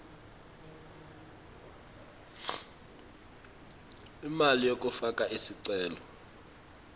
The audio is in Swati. imali yekufaka sicelo